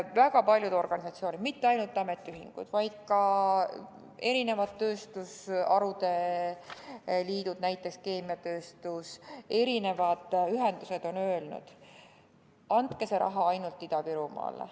Väga paljud organisatsioonid, mitte ainult ametiühingud, vaid ka erinevad tööstusharude liidud, näiteks keemiatööstus, erinevad ühendused on öelnud: andke see raha ainult Ida-Virumaale.